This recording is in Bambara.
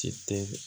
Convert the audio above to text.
Ti tɛ